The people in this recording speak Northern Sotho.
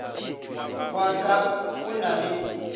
wa ka o na le